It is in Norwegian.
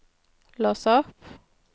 lås opp